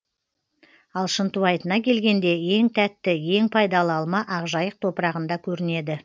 ал шынтуайтына келгенде ең тәтті ең пайдалы алма ақжайық топырағында көрінеді